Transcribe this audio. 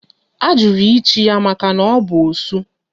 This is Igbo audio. A jụrụ ịchi ya maka na ọ bụ osu